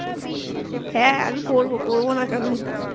হ্যাঁ আমি করবো করবো না কেন